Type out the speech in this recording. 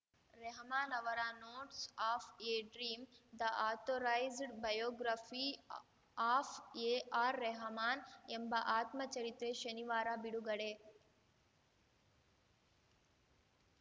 ರೆಹಮಾನ್‌ ಅವರ notes of a dream the authorised biography of AR Rahman ಎಂಬ ಆತ್ಮಚರಿತ್ರೆ ಶನಿವಾರ ಬಿಡುಗಡೆ